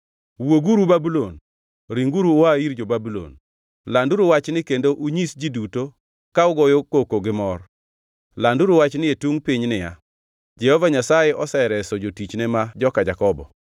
Wuoguru Babulon, ringuru ua ir jo-Babulon! Landuru wachni kendo unyis ji duto ka ugoyo koko gimor. Landuru wachni e tungʼ piny niya, “Jehova Nyasaye osereso jotichne ma joka Jakobo.”